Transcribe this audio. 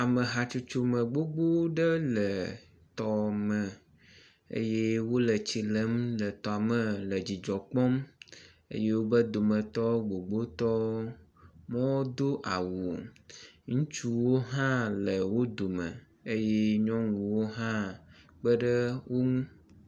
ame hatsotso gbogbó ɖe le tɔme eye wóle tsilem le tɔ me le dzidzɔ kpɔm wobe dometɔ gbogbótɔ wodó awu ŋutsuwo hã le wó dome eye nyɔŋuwo ha kpeɖe ŋu